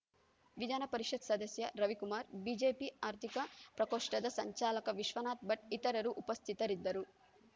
ವಿಧಾನಪರಿಷತ್‌ ಸದಸ್ಯ ರವಿಕುಮಾರ್‌ ಬಿಜೆಪಿ ಆರ್ಥಿಕ ಪ್ರಕೋಷ್ಠದ ಸಂಚಾಲಕ ವಿಶ್ವನಾಥ್‌ ಭಟ್‌ ಇತರರು ಉಪಸ್ಥಿತರಿದ್ದರು